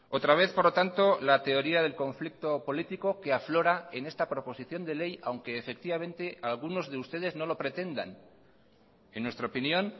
otra vez por lo tanto la teoría del conflicto político que aflora en esta proposición de ley aunque efectivamente algunos de ustedes no lo pretendan en nuestra opinión